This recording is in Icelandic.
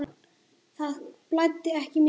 Það blæddi ekki mikið.